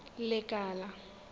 lekala